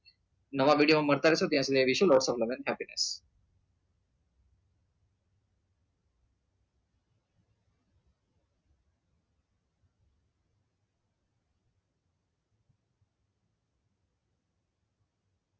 નવા video માં મળતા રેસુ ત્યાર સુધી